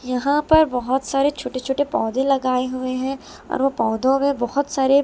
यहां पर बहुत सारे छोटे छोटे पौधे लगाए हुए हैं और वो पौधों में बहुत सारे--